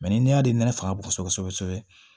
ni ne y'a ne nɛgɛ faga kosɛbɛ kosɛbɛ